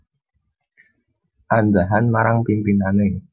Andhahan marang pimpinane